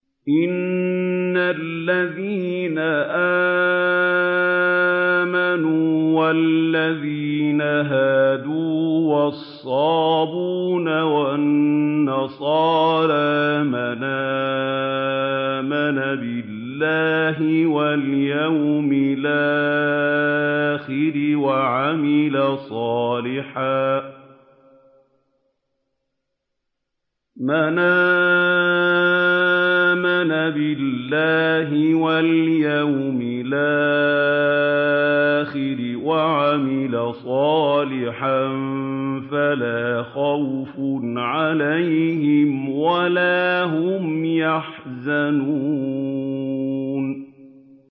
إِنَّ الَّذِينَ آمَنُوا وَالَّذِينَ هَادُوا وَالصَّابِئُونَ وَالنَّصَارَىٰ مَنْ آمَنَ بِاللَّهِ وَالْيَوْمِ الْآخِرِ وَعَمِلَ صَالِحًا فَلَا خَوْفٌ عَلَيْهِمْ وَلَا هُمْ يَحْزَنُونَ